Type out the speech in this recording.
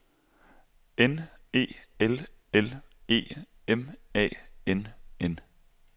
N E L L E M A N N